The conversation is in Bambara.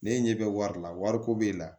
Ne ɲɛ bɛ wari la wariko b'e la